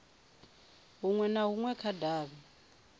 hunwe na hunwe kha davhi